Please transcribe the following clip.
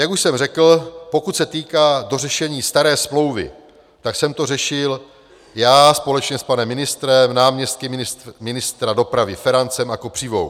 Jak už jsem řekl, pokud se týká dořešení staré smlouvy, tak jsem to řešil já společně s panem ministrem, náměstky ministra dopravy Ferancem a Kopřivou.